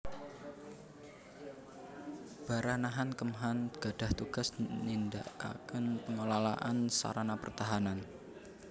Baranahan Kemhan gadhah tugas nindakaken pengelolaan sarana pertahanan